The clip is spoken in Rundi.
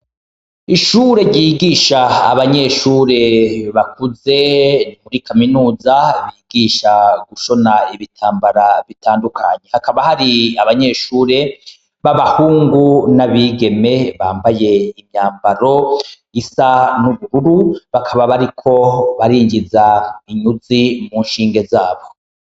Ishure ryigisha abanyeshure bakuze nimuri kaminuza bigisha gushona ibitambara bitandukanyi hakaba hari abanyeshure b'abahungu n'abigeme bambaye imyambaro isa n'ubururu bakaba bariko barinjiza inyuzi mu nshinge zabwo.